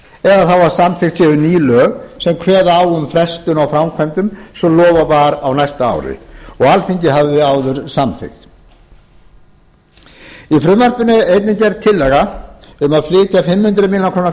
þá að samþykkt séu ný lög sem kveða á um frestun á framkvæmdum sem lofað var á næsta ári og alþingi hafði áður samþykkt í frumvarpinu er einnig gerð tillaga um að flytja fimm hundruð milljóna króna